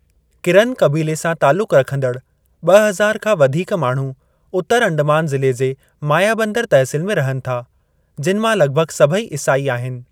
किरन क़बीले सां तालुकु रखंदड़ ॿ हज़ार खां वधीक माण्हू उतरु अंडमान ज़िले जे मायाबन्दर तहसील में रहनि था, जिनि मां लॻभॻ सभई ईसाई आहिनि।